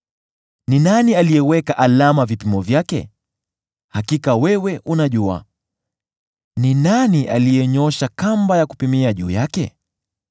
Ni nani aliyeweka alama vipimo vyake? Hakika wewe unajua! Ni nani aliyenyoosha kamba ya kupimia juu yake?